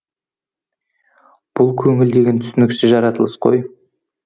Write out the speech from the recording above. бұл көңіл деген түсініксіз жаратылыс қой